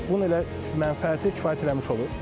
Bunun elə mənfəəti kifayət eləmiş olur.